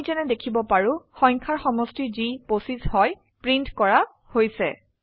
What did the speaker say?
আমি যেনে দেখিব পাৰো সংখ্যাৰ সমষ্টি যি 25 হয় প্ৰিন্ট কৰা হৈছে